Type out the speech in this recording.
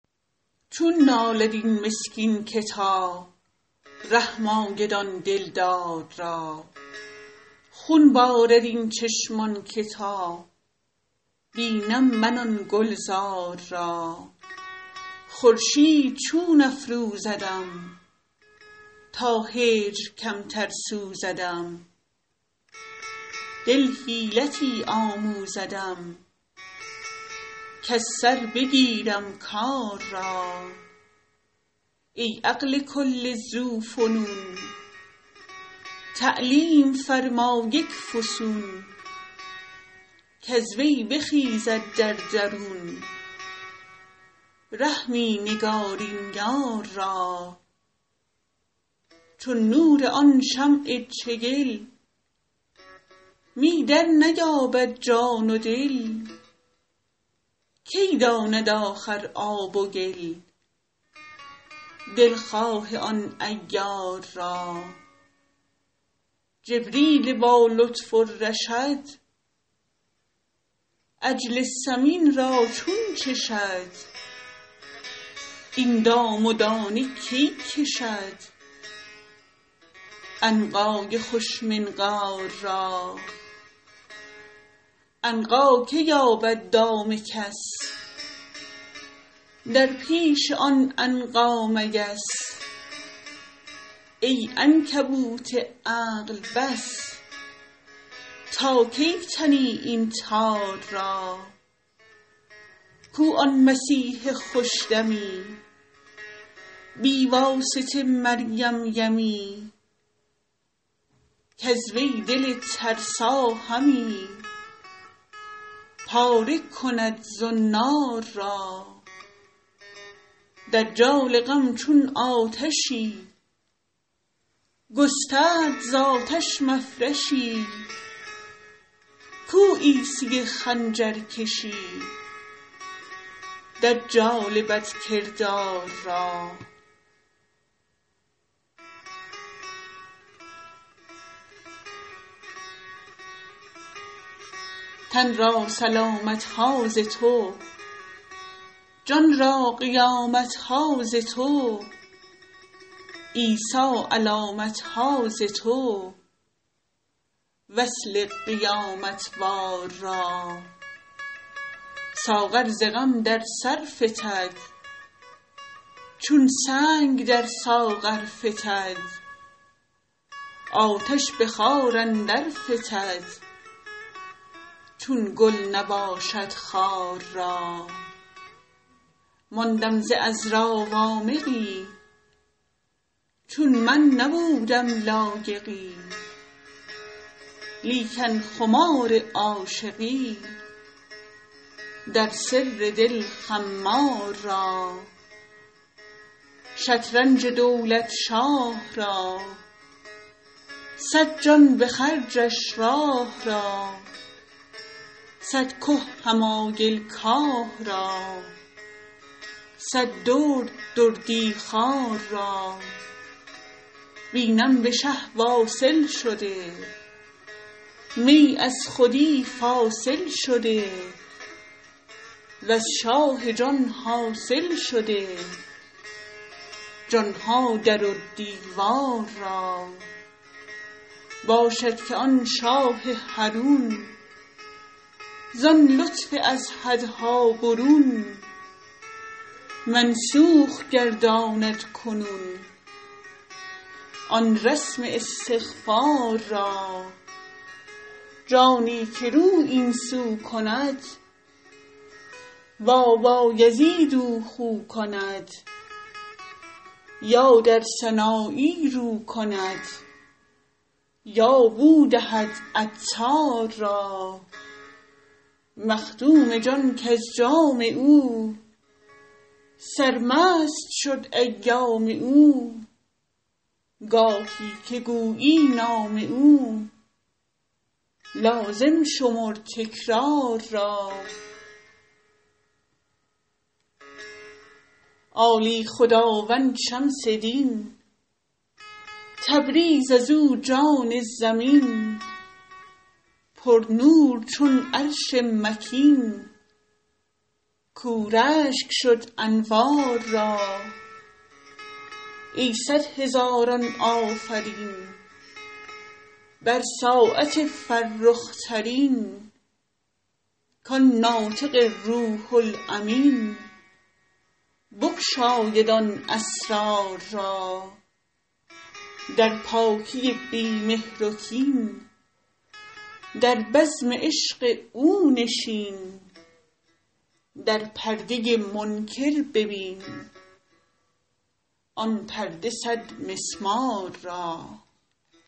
چون نالد این مسکین که تا رحم آید آن دلدار را خون بارد این چشمان که تا بینم من آن گلزار را خورشید چون افروزدم تا هجر کمتر سوزدم دل حیلتی آموزدم کز سر بگیرم کار را ای عقل کل ذوفنون تعلیم فرما یک فسون کز وی بخیزد در درون رحمی نگارین یار را چون نور آن شمع چگل می درنیابد جان و دل کی داند آخر آب و گل دلخواه آن عیار را جبریل با لطف و رشد عجل سمین را چون چشد این دام و دانه کی کشد عنقای خوش منقار را عنقا که یابد دام کس در پیش آن عنقا مگس ای عنکبوت عقل بس تا کی تنی این تار را کو آن مسیح خوش دمی بی واسطه مریم یمی کز وی دل ترسا همی پاره کند زنار را دجال غم چون آتشی گسترد ز آتش مفرشی کو عیسی خنجرکشی دجال بدکردار را تن را سلامت ها ز تو جان را قیامت ها ز تو عیسی علامت ها ز تو وصل قیامت وار را ساغر ز غم در سر فتد چون سنگ در ساغر فتد آتش به خار اندر فتد چون گل نباشد خار را ماندم ز عذرا وامقی چون من نبودم لایقی لیکن خمار عاشقی در سر دل خمار را شطرنج دولت شاه را صد جان به خرجش راه را صد که حمایل کاه را صد درد دردی خوار را بینم به شه واصل شده می از خودی فاصل شده وز شاه جان حاصل شده جان ها در و دیوار را باشد که آن شاه حرون زان لطف از حدها برون منسوخ گرداند کنون آن رسم استغفار را جانی که رو این سو کند با بایزید او خو کند یا در سنایی رو کند یا بو دهد عطار را مخدوم جان کز جام او سرمست شد ایام او گاهی که گویی نام او لازم شمر تکرار را عالی خداوند شمس دین تبریز از او جان زمین پرنور چون عرش مکین کاو رشک شد انوار را ای صد هزاران آفرین بر ساعت فرخ ترین کان ناطق روح الامین بگشاید آن اسرار را در پاکی بی مهر و کین در بزم عشق او نشین در پرده منکر ببین آن پرده صدمسمار را